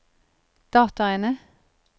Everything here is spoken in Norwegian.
dataene